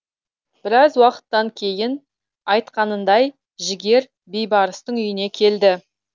біраз уақыттан кейін айтқанындай жігер бейбарыстың үйіне келді